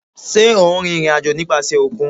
Ṣe o n rin irin-ajo nipasẹ okun?